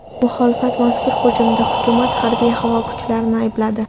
Muxolifat mazkur hujumda hukumat harbiy-havo kuchlarini aybladi.